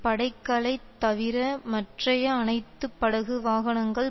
படைகளை தவிர மற்றைய அனைத்து படகு வாகனங்கள்